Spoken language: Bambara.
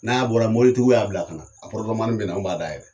N'a bɔra mobilitigiw y'a bila kana a pɔrɔtomani bena anw b'a dayɛlɛ